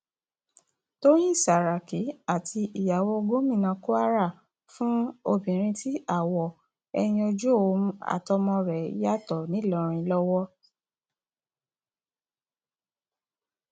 tọyìn sàràkí àti ìyàwó gómìnà kwara fún obìnrin tí àwọ ẹyìn ojú òun àtàwọn ọmọ rẹ yàtọ ńìlọrin lọwọ